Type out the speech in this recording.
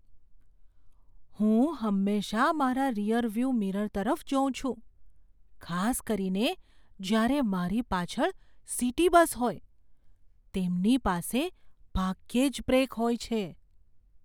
હું હંમેશાં મારા રીઅરવ્યૂ મિરર તરફ જોઉં છું, ખાસ કરીને જ્યારે મારી પાછળ સિટી બસ હોય. તેમની પાસે ભાગ્યે જ બ્રેક હોય છે.